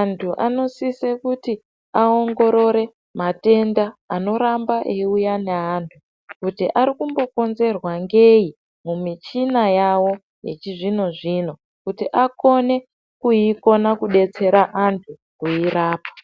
antu anosise kuti aongorore matenda anoramba eiuya neantu kuti arikumbokonzerwa ngei mumichina yavo yechizvino-zvino kuti akone kuikona kudetsera antu kuirapa.